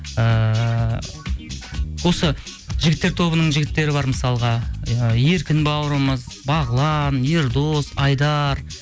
ыыы осы жігіттер тобының жігіттері бар мысалға иә еркін бауырымыз бағлан ердос айдар